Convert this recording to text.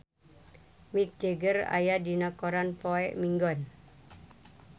Mick Jagger aya dina koran poe Minggon